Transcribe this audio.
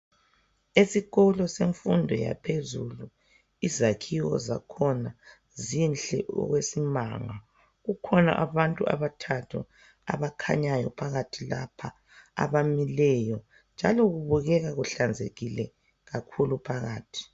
Esikolo semfundo yaphezulu izakhiwo zakhona zinhle okwesimanga kukhona abantu abathathu abakhanyayo abamileyo njalo kubukeka kuhlanzekile phakathi